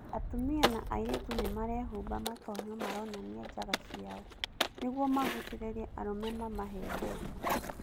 Atumia na airĩtu nĩmarehumba matonyo maronania jaga ciao, nĩguo magucĩrĩrie arũme mamahe mbeca.